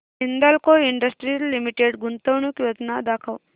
Hindalco industries limited गुंतवणूक योजना दाखव